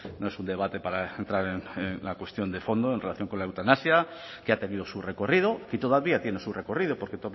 no es un debate para entrar en la cuestión de fondo en relación con la eutanasia que ha tenido su recorrido y todavía tiene su recorrido porque